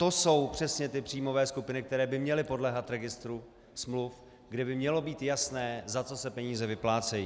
To jsou přesně ty příjmové skupiny, které by měly podléhat registru smluv, kde by mělo být jasné, za co se peníze vyplácejí.